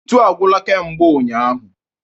Ntu agwụla kemgbe ụnyaahụ.